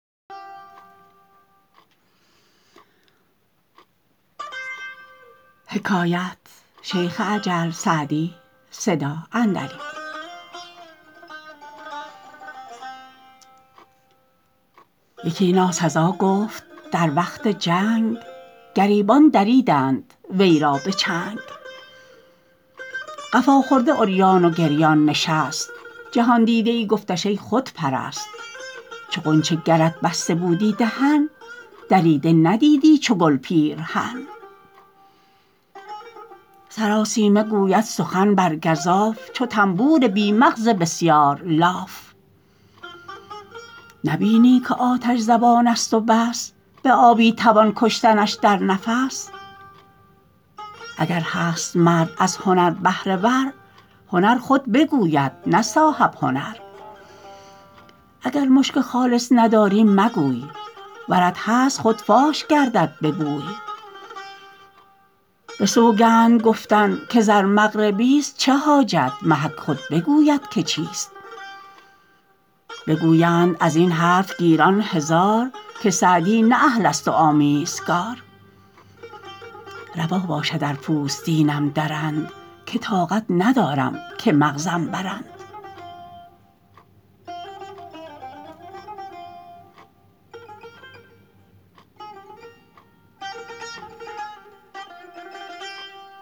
یکی ناسزا گفت در وقت جنگ گریبان دریدند وی را به چنگ قفا خورده عریان و گریان نشست جهاندیده ای گفتش ای خودپرست چو غنچه گرت بسته بودی دهن دریده ندیدی چو گل پیرهن سراسیمه گوید سخن بر گزاف چو طنبور بی مغز بسیار لاف نبینی که آتش زبان است و بس به آبی توان کشتنش در نفس اگر هست مرد از هنر بهره ور هنر خود بگوید نه صاحب هنر اگر مشک خالص نداری مگوی ورت هست خود فاش گردد به بوی به سوگند گفتن که زر مغربی است چه حاجت محک خود بگوید که چیست بگویند از این حرف گیران هزار که سعدی نه اهل است و آمیزگار روا باشد ار پوستینم درند که طاقت ندارم که مغزم برند